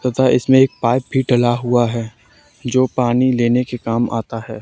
तथा इसमें एक पाइप भी डला हुआ है जो पानी लेने के काम आता है।